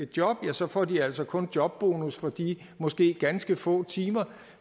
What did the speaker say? job ja så får de altså kun jobbonus for de måske ganske få timer